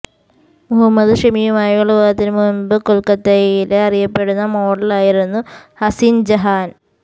മുഹമ്മദ് ഷമിയുമായുള്ള വിവാഹത്തിന് മുൻപ് കൊൽക്കത്തയിലെ അറിയപ്പെടുന്ന മോഡലായിരുന്നു ഹസിൻ ജഹാൻ